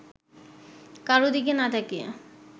কারো দিকে না তাকিয়ে